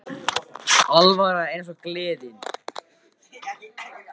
Alvaran er létt eins og gleðin.